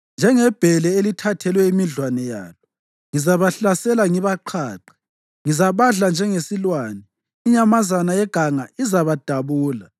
Njengebhele elithathelwe imidlwane yalo ngizabahlasela ngibaqhaqhe. Ngizabadla njengesilwane, inyamazana yeganga izabadabula.